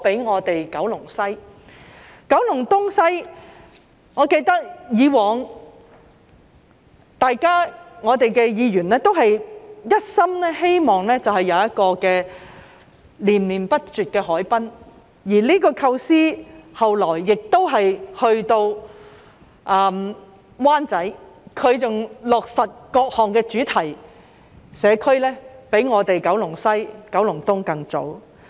在九龍東及九龍西，我記得各位議員以往都是一心希望有一個連綿不斷的海濱，這個構思後來亦延伸至灣仔，而該區落實各項的主題社區，比我們九龍西及九龍東更早。